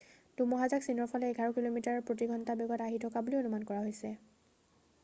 ধুমুহাজাক চীনৰফালে এঘাৰ কিলোমিটাৰ প্ৰতি ঘণ্টা বেগত আহি থকা বুলি অনুমান কৰা হৈছে